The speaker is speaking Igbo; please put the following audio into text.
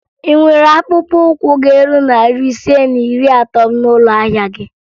Ị nwere akpụkpọụkwụ ga-eru narị ise na iri atọ n'ụlọ ahịa gị?